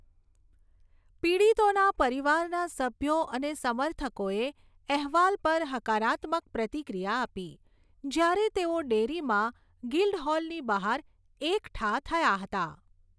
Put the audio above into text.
પીડિતોના પરિવારના સભ્યો અને સમર્થકોએ અહેવાલ પર હકારાત્મક પ્રતિક્રિયા આપી, જ્યારે તેઓ ડૅરીમાં ગિલ્ડહોલની બહાર એકઠાં થયાં હતાં.